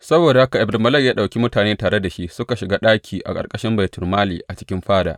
Saboda haka Ebed Melek ya ɗauki mutane tare da shi suka shiga ɗaki a ƙarƙashin baitulmali a cikin fada.